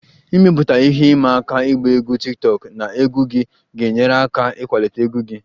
Ịmepụta ihe ịma aka ịgba egwu tiktokụ na egwu gị ga-enyere aka ịkwalite egwu gị